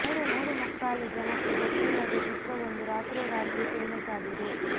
ಮೂರು ಮುಕ್ಕಾಲು ಜನಕ್ಕೆ ಗೊತ್ತಿಲ್ಲದ ಚಿತ್ರವೊಂದು ರಾತ್ರೋ ರಾತ್ರಿ ಫೇಮಸ್ ಆಗಿದೆ